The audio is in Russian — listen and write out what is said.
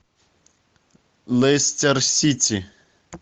лестер сити